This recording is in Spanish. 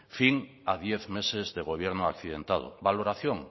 fin a diez meses de gobierno accidentado valoración